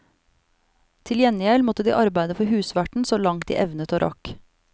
Til gjengjeld måtte de arbeide for husverten så langt de evnet og rakk.